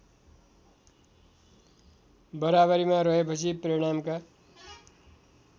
बराबरीमा रहेपछि परिणामका